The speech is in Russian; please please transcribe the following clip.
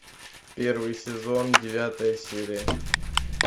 первый сезон девятая серия